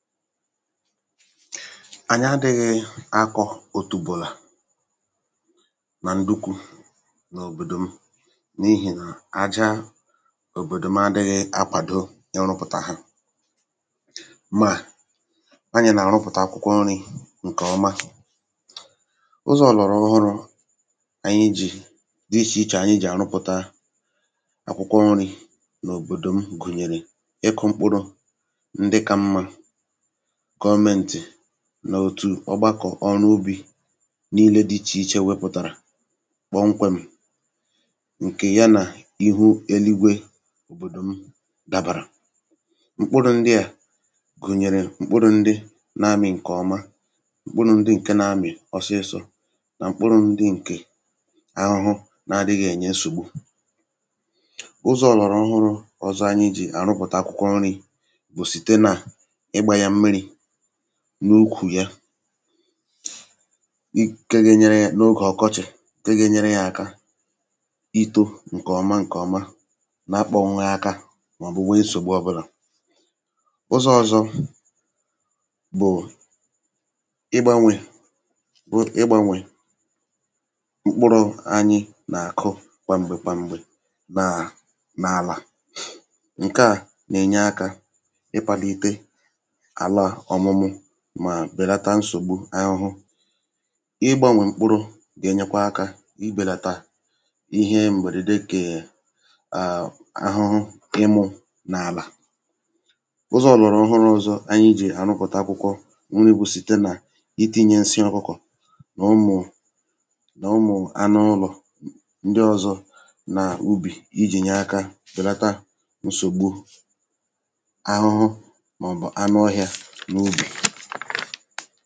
Ànyị adịghị̀ akù otùbọ̀la dị kà tomato ma ọ bụ̀ nduku n’òbòdò m n’ihi na àjà òbòdò m adịghị akwàdó ịrụpụta ha. Kama nke ahụ̀ ànyị na-akù akwụkwọ nri. Ụzọ̀ ọ̀lọ̀rọ̀ ọhụrụ ndị ànyị ji na-azụ́ akwụkwọ nri n’òbòdò m gụ̀nyere ịkụ́ mkpụrụ̀ ọnụ n’òtù ọgbàkọ̀ ọrụ́ ubi n’ebe dị iche iche ma nke a enyèrè ànyị ezigbo nsonaazụ. Àjà n’òbòdò m dabàrà mkpụrụ̀ ndị dị otu a gụ̀nyere mkpụrụ̀ ndị na-amị̀ ngwa ngwa mkpụrụ̀ ndị na-eweta ezigbo owuwe ihe ubi um na mkpụrụ̀ ndị na-adịghị enyé nsògbu ụmụ́ahụhụ. Ụzọ̀ ọ̀lọ̀rọ̀ ọhụrụ ọzọ ànyị ji na-akù akwụkwọ nri bụ́ ịgbà mmiri nke na-enyere aka ọ̀kachasị n’oge ọkọchị. Ụzọ̀ a na-enye mkpụrụ̀ ihe ubi mmiri zuru oke ma na-ebelata ohere nsògbu ụmụ́ahụhụ. Ụzọ̀ ọzọ bụ́ ịgbanwé mkpụrụ̀. Ànyị na-agbanwé mkpụrụ̀ ndị ànyị na-akù site n’oge ruo n’oge ma n’ebe ubi dị iche iche nke a na-enyere aka belata nsogbu ụmụ́ahụhụ um ma na-egbochi àjà ka ọ ghara ịkụda ike. Ụzọ̀ ọ̀lọ̀rọ̀ ọhụrụ ọzọ ànyị ji bụ́ itinye nsị ọkụkọ̀ na nke ụmụ̀ anụ ụlọ̀ ndị ọzọ n’ubi nke a na-enyere aka ibelata nsògbu ụmụ́ahụhụ n’ime akwụkwọ nri.